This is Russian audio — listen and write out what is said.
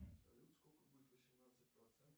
салют сколько будет восемнадцать процентов